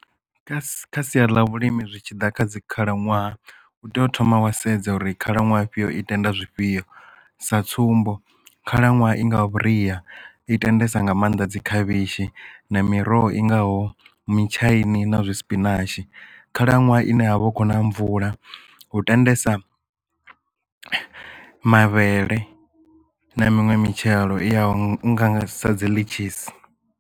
Kha sia ḽa vhulimi zwi tshi ḓa kha dzi khalaṅwaha u tea u thoma wa sedza uri khalaṅwaha afhio i tenda zwifhio sa tsumbo khalaṅwaha i nga vhuria i tendesa nga maanḓa dzi khavhishi na miroho i ngaho mutshaini na zwi sipinatshi khalaṅwaha ine ha vha hu khou na mvula hu tendesa mavhele na minwe mitshelo i ya ngaho sa dzi Ḽitshisi.